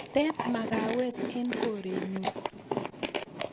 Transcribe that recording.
Teb magawet en korenyun